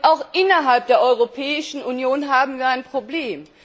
Auch innerhalb der Europäischen Union haben wir ein Problem.